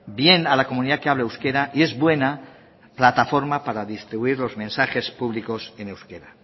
bien a la comunidad que habla euskera y es buena plataforma para distribuir los mensajes públicos en euskera